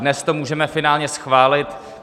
Dnes to můžeme finálně schválit.